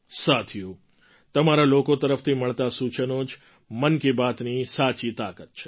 સાથીઓ તમારા લોકો તરફથી મળતાં સૂચનો જ મન કી બાતની સાચી તાકાત છે